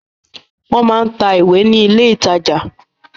Wọ́n máa ń tà ìwé ní ilé-ìtajà.